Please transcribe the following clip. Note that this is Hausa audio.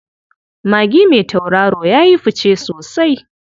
Magi mai tauraro ya yi fice sosai.